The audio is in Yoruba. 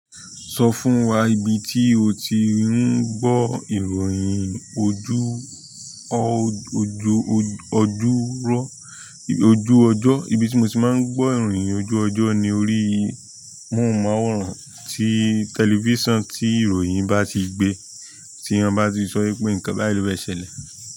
Sọ fún wa ibi tí o ti ń gbọ́ ìròyìn ojú ojú ọjọ́, ibi tí mo ti máa ń gbọ́ ìròyìn ojú ọjọ́ ni orí i móhùnmáwòrán tí tẹlifísàn tí ìròyìn bá ti gbe, tí wọ́n bá ti sọ wípé nǹkan báyìí ló fẹ́ ṣẹlẹ̀.